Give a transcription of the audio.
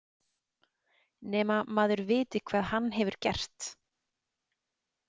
Nema maður viti hvað hann hefur gert.